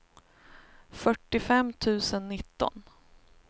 fyrtiofem tusen nitton